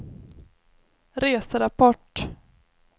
reserapport